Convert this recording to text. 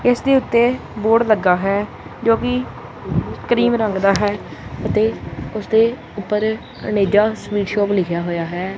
ਇਸ ਦੇ ਓੱਤੇ ਬੋਰਡ ਲੱਗਾ ਹੈ ਜੋ ਕਿ ਕ੍ਰੀਮ ਰੰਗ ਦਾ ਹੈ ਅਤੇ ਉਸਦੇ ਉਪਰ ਅਨੇਜਾ ਸਵੀਟ ਸ਼ੌਪ ਲਿੱਖਿਆ ਹੋਇਆ ਹੈ।